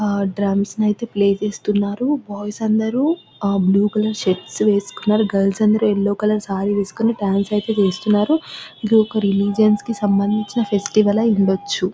ఆ డ్రమ్స్ ని ఐతే ప్లే చేస్తున్నారు బాయ్స్ అందరూ బ్లూ కలర్ షర్ట్స్ వేసుకున్నారు గర్ల్స్ అందరూ యెల్లో కలర్ సారీ వేసుకుని డాన్స్ అయితే చేస్తున్నారు ఇది ఒక రిలీజియన్ కి సంబంధించిన ఫెస్టివల్ ఉండొచ్చు.